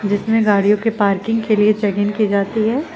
इसमें गाड़ियों के पार्किंग के लिए चेक इन की जाती है।